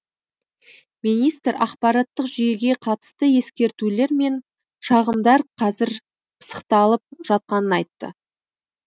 министр ақпараттық жүйеге қатысты ескертулер мен шағымдар қазір пысықталып жатқанын айтты